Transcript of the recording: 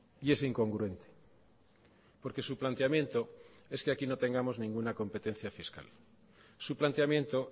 y es incongruente porque su planteamiento es que aquí no tengamos ninguna competencia fiscal su planteamiento